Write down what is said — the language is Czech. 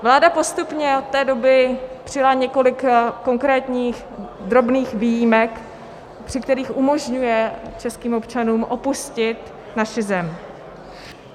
Vláda postupně od té doby přijala několik konkrétních drobných výjimek, při kterých umožňuje českým občanům opustit naši zem.